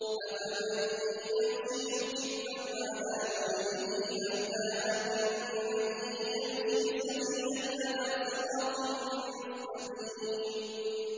أَفَمَن يَمْشِي مُكِبًّا عَلَىٰ وَجْهِهِ أَهْدَىٰ أَمَّن يَمْشِي سَوِيًّا عَلَىٰ صِرَاطٍ مُّسْتَقِيمٍ